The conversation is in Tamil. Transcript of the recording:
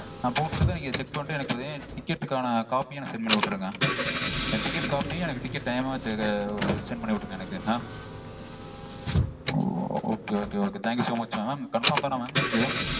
நா போட்டு விட்டதும் நீங்க check பண்ணிட்டு எனக்கு பாத்தீங்கனா ticket -க்கான copy -யும் எனக்கு send பண்ணி விட்டிருங்க எனக்கு. Oh okay okay okay thank you so much mam. Mam confirm -தான mam? இதும்